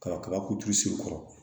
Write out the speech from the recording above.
Kaba kabako se kɔrɔ